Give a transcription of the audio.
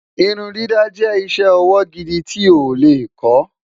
irun dídá jé iṣẹ ọwọ gidi tí o lẹ kò